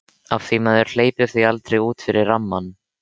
Af því maður hleypir því aldrei út fyrir rammann.